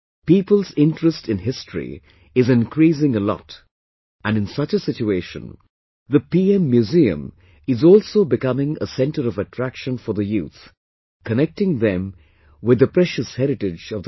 People's interest in history is increasing a lot and in such a situation the PM Museum is also becoming a centre of attraction for the youth, connecting them with the precious heritage of the country